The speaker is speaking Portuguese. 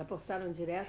Aportaram direto?